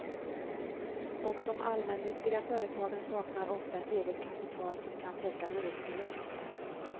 Och de allmännyttiga företagen saknar ofta ett eget kapital som kan täcka hyresförluster.